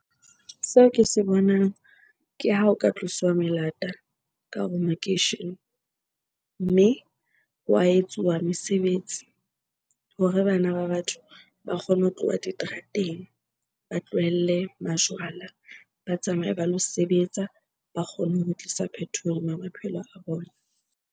Seo ke se bonang ke ha ho ka tloswa melata ka hare ho makeishene. Mme wa etsuwa mesebetsi hore bana ba batho ba kgone ho tloha diterateng, ba tlohelle majwala. Ba tsamaye ba lo sebetsa, ba kgone ho tlisa phethoho maphelo a bona.